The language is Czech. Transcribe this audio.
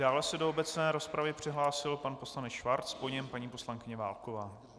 Dále se do obecné rozpravy přihlásil pan poslanec Schwarz, po něm paní poslankyně Válková.